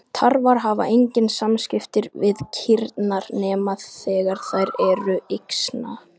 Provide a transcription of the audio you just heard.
Tarfar hafa engin samskipti við kýrnar nema þegar þær eru yxna.